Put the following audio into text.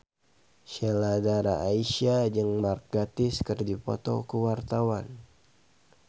Sheila Dara Aisha jeung Mark Gatiss keur dipoto ku wartawan